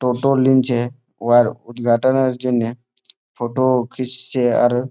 টোটো লিংছে। উহার উদ্ঘাটনের জন্যে ফটো খিচছে আর --